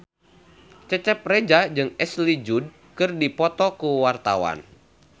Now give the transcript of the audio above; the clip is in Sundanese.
Cecep Reza jeung Ashley Judd keur dipoto ku wartawan